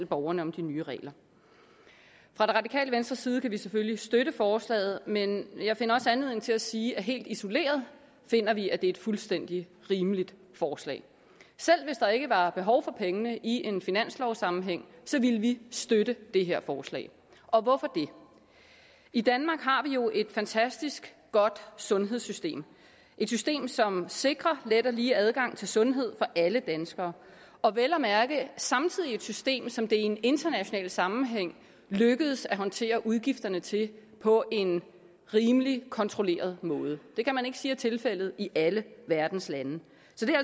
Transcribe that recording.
borgerne om de nye regler fra det radikale venstres side kan vi selvfølgelig støtte forslaget men jeg finder også anledning til at sige at helt isoleret finder vi at det er et fuldstændig rimeligt forslag selv hvis der ikke var behov for pengene i en finanslovssammenhæng ville vi støtte det her forslag og hvorfor det i danmark har jo et fantastisk godt sundhedssystem et system som sikrer let og lige adgang til sundhed for alle danskere og vel at mærke samtidig et system som det i en international sammenhæng er lykkedes at håndtere udgifterne til på en rimelig kontrolleret måde det kan man ikke sige er tilfældet i alle verdens lande